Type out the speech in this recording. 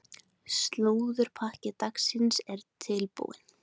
Slúðurpakki dagsins er tilbúinn.